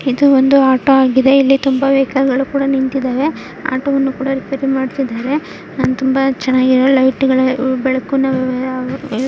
ಇದು ಒಂದು ಆಟೋ ಆಗಿದೆ ಇಲ್ಲಿ ತುಂಬಾ ವೆಹಿಕಲ್ ಗಳು ನೀತಿದವೇ. ಆಟೋ ಮಾಡತಿದರೆ ಮತ್ತೆ ತುಂಬಾ ಚೆನ್ನಾಗಿ ಲೈಟ್ ಬೆಳಕು --